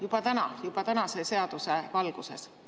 Juba täna, juba tänase seaduse valguses.